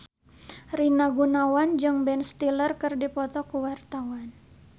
Rina Gunawan jeung Ben Stiller keur dipoto ku wartawan